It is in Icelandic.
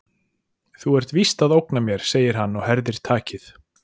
Þú ert víst að ógna mér, segir hann og herðir takið.